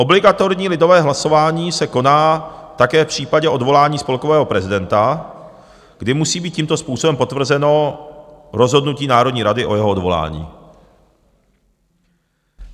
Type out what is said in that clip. Obligatorní lidové hlasování se koná také v případě odvolání spolkového prezidenta, kdy musí být tímto způsobem potvrzeno rozhodnutím Národní rady o jeho odvolání.